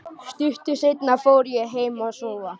Stuttu seinna fór ég heim að sofa.